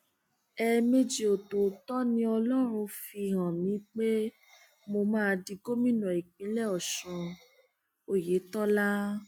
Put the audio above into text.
ẹẹmejì ọtọọtọ ni ọlọrun fi hàn mí pé mo máa di gómìnà ìpínlẹ ọsun ọyẹtọlá